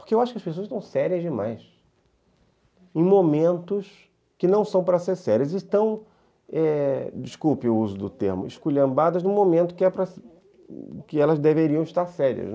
Porque eu acho que as pessoas estão sérias demais em momentos que não são para ser sérias e estão, desculpe o uso do termo, esculhambadas no momento que elas deveriam estar sérias.